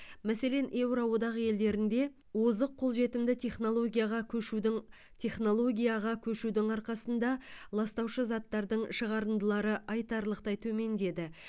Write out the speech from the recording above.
мәселен еуро одақ елдерінде озық қолжетімді технологияға көшудің технологияға көшудің арқасында ластаушы заттардың шығарындылары айтарлықтай төмендеді